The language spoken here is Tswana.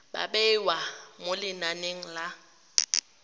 ba bewa mo lenaneng la